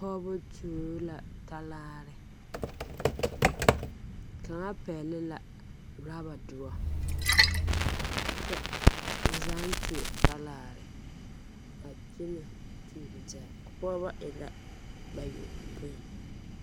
Pɔgeba tuo la talaare kaŋa pɛgle la rɔbadoɔ kyɛ ba zaaŋ tuo talaare a kyɛnɛ tuuro taa pɔgeba e la bayɔpoi.